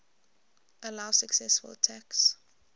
allow successful attacks